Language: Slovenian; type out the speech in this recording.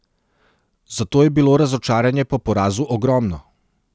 Zato je bilo razočaranje po porazu ogromno.